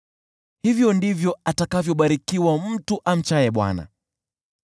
Hivyo ndivyo atakavyobarikiwa mtu amchaye Bwana .